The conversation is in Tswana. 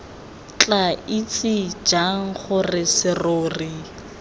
tla itse jang gore serori